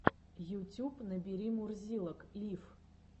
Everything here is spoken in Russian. ютюб набери мурзилок лив